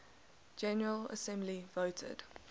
general assembly voted